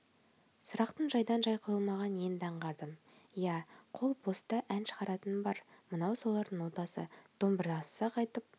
сұрақтың жайдан-жай қойылмағанын енді аңғардым иә қол боста ән шығаратыным бар мынау солардың нотасы домбырасыз-ақ айтып